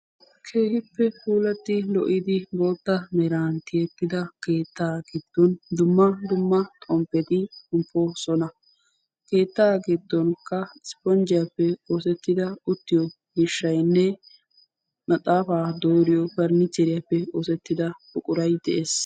Keehippe puulattidi lo'idi bootta meran tiyettida keettaa giddon dumma dumma xomppeti de'oosona. Keettaa giddonkka ispponjjiyappe oosettida uttiyo miishshaynne maxaafaa dooriyo pariniichcheriyappe oosettida buquray de'ees.